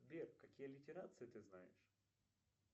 сбер какие литерации ты знаешь